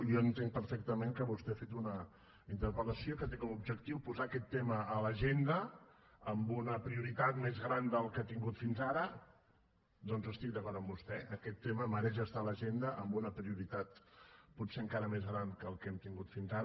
jo entenc perfectament que vostè ha fet una interpel·lació que té com a objectiu posar aquest tema a l’agenda amb una prioritat més gran de la que ha tingut fins ara doncs estic d’acord amb vostè aquest tema mereix estar a l’agenda amb una prioritat potser encara més gran de la que hem tingut fins ara